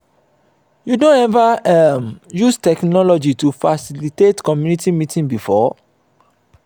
you don ever um use technology to facilitate community meeting before?